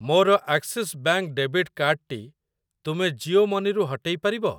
ମୋର Axis bank debit card ଟି ତୁମେ ଜିଓ ମନି ରୁ ହଟେଇ ପାରିବ?